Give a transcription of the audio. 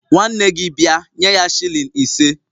Nwanne gi bia, nye ya shilling ise